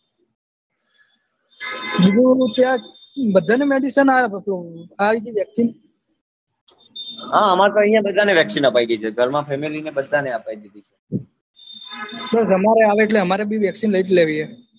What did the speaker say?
બીજું બોલો ત્યાં બધા ને medicine અ પીલુ vaccine આવી ગઈ હા અમારે તો અહ્યા બધા ને vaccine અપાય ગઈ છે ઘર માં family ને બધા ને અપાય ગઈ છે બસ અમારે આવે એટલે અમારે ભી vaccine લઇ જ લેવી છે